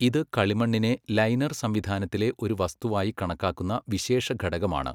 ഇത് കളിമണ്ണിനെ ലൈനർ സംവിധാനത്തിലെ ഒരു വസ്തുവായി കണക്കാക്കുന്ന വിശേഷഘടകമാണ്.